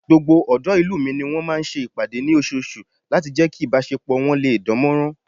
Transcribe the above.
Gbogbo ọ̀dọ́ ìlú mi ni wọ́n máa ń ṣe ìpàdé ní oṣooṣù láti jẹ́ kí ìbásepọ̀ wọ́n lè dánmọ́nrán